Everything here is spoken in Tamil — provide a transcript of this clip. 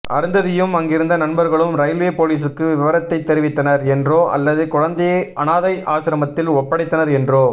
அருந்ததியும் அங்கிருந்த நண்பர்களும் ரயில்வே போலீஸுக்கு விவரத்தை தெரிவித்தனர் என்றோ அல்லது குழந்தையை அனாதை ஆசிரமத்தில் ஒப்படைத்தனர் என்றோ